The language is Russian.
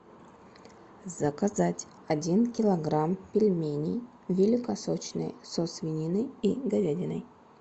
заказать один килограмм пельменей великосочные со свининой и говядиной